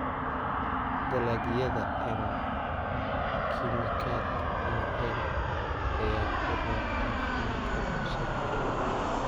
Dalagyada aan kiimikaad lahayn ayaa u roon caafimaadka bulshada.